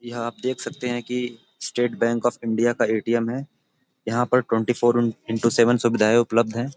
यह आप देख सकते हैं कि स्टेट बैंक ऑफ इंडिया का ए_टी_एम है यहां पर twenty four in into seven सुविधाएं उपलब्ध हैं।